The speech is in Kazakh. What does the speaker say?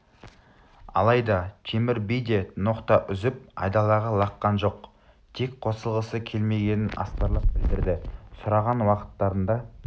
алайда темір би де ноқта үзіп айдалаға лаққан жоқ тек қосылғысы келмегенін астарлап білдірді сұраған уақыттарында